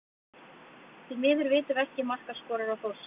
Því miður vitum við ekki markaskorara Þórsara.